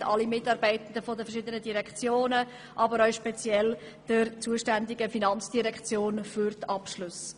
Wir danken Mitarbeitenden der verschiedenen Direktionen, aber auch der zuständigen FIN für die Abschlüsse.